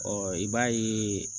Ɔ i b'a ye